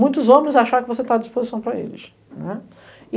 Muitos homens achar que você está à disposição para eles, né.